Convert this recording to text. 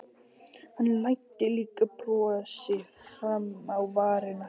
Hann læddi líka brosi fram á varirnar.